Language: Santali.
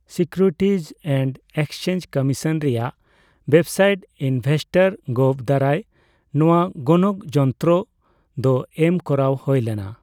ᱥᱤᱠᱤᱣᱨᱤᱴᱤᱡ ᱮᱱᱰ ᱮᱠᱥᱪᱮᱧᱡ ᱠᱚᱢᱤᱥᱚᱱ ᱨᱮᱭᱟᱜ ᱳᱭᱮᱵᱥᱟᱭᱤᱴ ᱤᱱᱵᱷᱮᱥᱴᱚᱨ ᱜᱚᱵᱷ ᱫᱟᱨᱟᱭ ᱱᱚᱣᱟ ᱜᱚᱱᱚᱠ ᱡᱚᱱᱛᱚᱨᱚ ᱫᱚ ᱮᱢ ᱠᱚᱨᱟᱣ ᱦᱳᱭ ᱞᱮᱱᱟ ᱾